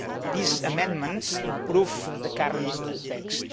These amendments improve the current text.